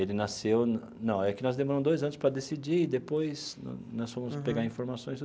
Ele nasceu, não, é que nós demoramos dois anos para decidir e depois nós fomos pegar informações.